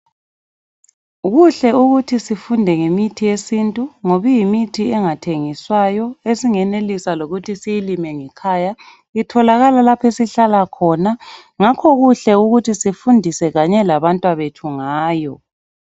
Kuhle ukuthi sifunde ngemithi yesintu, ngob'iyimithi engathengiswayo, esingenelisa lokuthi siyilime ngekhaya. Itholakala lapho esihlala khona. Ngakho kuhle ukuthi sifundise kanye labantwabethu ngayo.